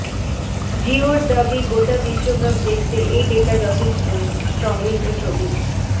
জিওর দাবি গোটা বিশ্বকাপ দেখতে এই ডেটা যথেষ্টই সংগৃহীত ছবি